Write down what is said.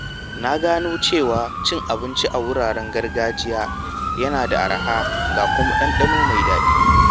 Na gano cewa cin abinci a wuraren gargajiya yana da araha ga kuma ɗanɗano mai daɗi.